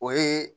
O ye